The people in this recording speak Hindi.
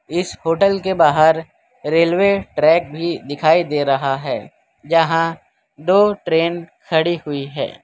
इस होटल के बाहर रेलवे ट्रैक भी दिखाई दे रहा है जहां दो ट्रेन खड़ी हुई है।